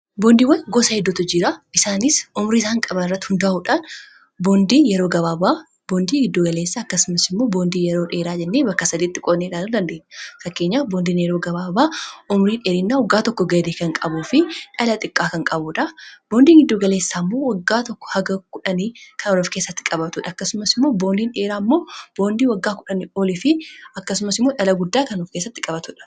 Boondiiwwan gosa heddootu jira isaanis umrii isaan qaban irratti hundaa'uudhaan boondii giddugaleessa akkasumas immoo boondii yeroo dheeraa jennee bakka lamatti qoonnee ilaaluu dandeenya.